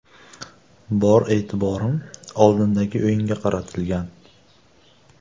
Bor e’tiborim oldindagi o‘yinga qaratilgan.